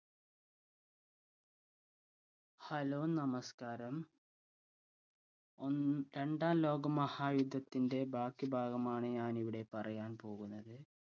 hello നമസ്‌ക്കാരം ഒന്ന് രണ്ടാം ലോക മഹായുദ്ധത്തിന്റെ ബാക്കി ഭാഗമാണ് ഞാൻ ഇവിടെ പറയാൻ പോകുന്നത്